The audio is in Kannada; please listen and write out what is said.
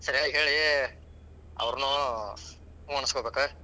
ಸರಿಯಾಗಿ ಹೇಳಿ ಅವ್ನ್ರು ಹೂಂ ಅನಸ್ಕೊಬೇಕ.